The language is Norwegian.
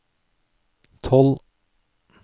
tolv